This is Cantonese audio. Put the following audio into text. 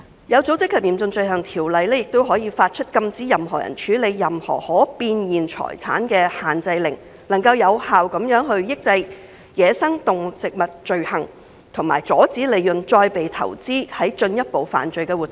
《有組織及嚴重罪行條例》亦可以發出禁止任何人處理任何可變現財產的限制令，有效地抑制走私野生動植物罪行，以及阻止利潤再被投資於進一步的犯罪活動。